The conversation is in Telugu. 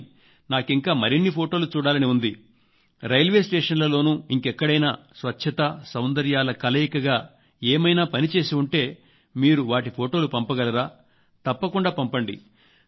కానీ నాకింకా మరిన్ని ఫొటోలు కలయికగా ఏమైనా పని చేసి ఉంటే మీరు వాటి ఫొటోలు పంపగలరా తప్పకుండా పంపండి